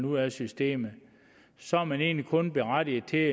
ud af systemet så er man egentlig kun berettiget til